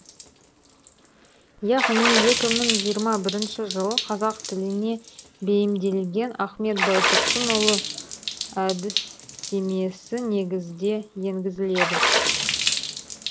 яғни екі мың жиырма биринши жылы қазақ тіліне бейімделген ахмет байтұрсынұлының әдістемесі негізде енгізіледі